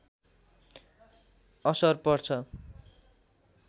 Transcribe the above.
असर पर्छ